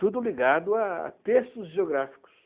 Tudo ligado a a textos geográficos.